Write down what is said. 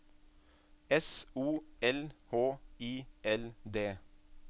S O L H I L D